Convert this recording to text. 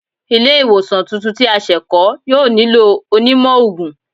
Ile-iwosan tuntun ti a se kọ, yoo nilo onímó oogun